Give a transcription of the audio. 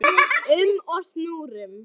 um og snúrum.